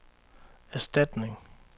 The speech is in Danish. erstatning